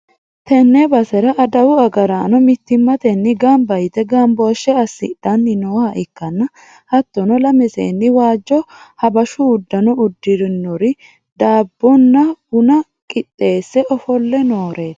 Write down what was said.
tenne basera adawu agaraano mittimmatenni gamba yite gamboshshe assidhanni nooha ikkanna, hattono lame seenni waajjo habashu uddano uddirinori daabbonna buna qixxeesse ofolle nooreeti.